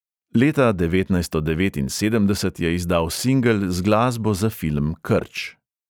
Leta devetnajststo devetinsedemdeset je izdal singel z glasbo za film krč.